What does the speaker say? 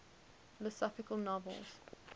philosophical novels